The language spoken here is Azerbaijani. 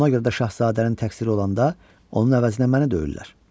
Ona görə də şahzadənin təqsiri olanda onun əvəzinə məni döyürlər.